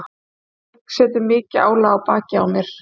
Svo það setur mikið álag á bakið á mér.